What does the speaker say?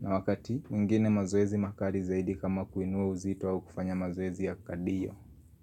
Na wakati mwingine mazoezi makali zaidi kama kuinua uzito au kufanya mazoezi ya kadiyo.